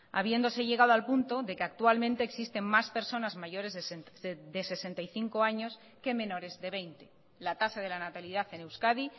habiéndose llegado al punto de que actualmente existen más personas mayores de sesenta y cinco años que menores de veinte la tasa de la natalidad en euskadi